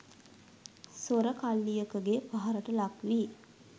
සොර කල්ලියකගේ පහරට ලක්වී